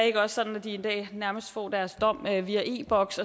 ikke også sådan at de i dag nærmest får deres dom via via e boks